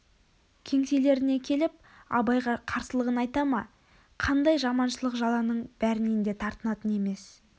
кеңселеріне келіп абайға қарсылығын айта ма қандай жаманшылық жаланың бәрінен де тартынатын емес